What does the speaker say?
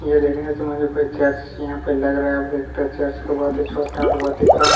यह देखने से मुझे कोई चर्च यहाँ पे लग रहा है अब देखते है चर्च बहुत ही छोटा और बहुत ही कम --